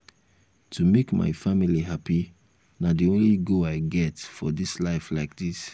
to make my family happy na the only goal i get for dis life like dis